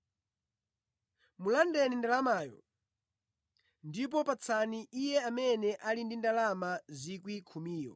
“ ‘Mulandeni ndalamayo, ndipo patsani iye amene ali ndi ndalama 10,000.